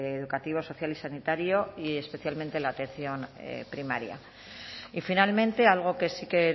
educativo social y sanitario y especialmente en la atención primaria y finalmente algo que sí que